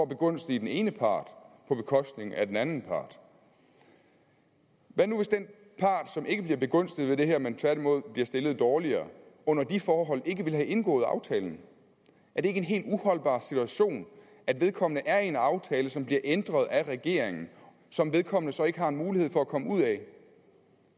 begunstige den ene part på bekostning af den anden part hvad nu hvis den part som ikke bliver begunstiget ved det her men tværtimod bliver stillet dårligere under de forhold ikke ville have indgået aftalen er det ikke en helt uholdbar situation at vedkommende er i en aftale som bliver ændret af regeringen og som vedkommende så ikke har en mulighed for at komme ud af